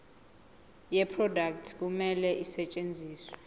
yeproduct kumele isetshenziswe